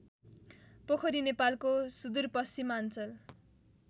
पोखरी नेपालको सुदूरपश्चिमाञ्चल